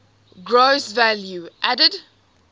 gross value added